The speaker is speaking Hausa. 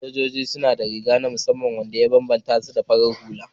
Sojoji suna da riga na musamman wanda ya bambanta su da farar hula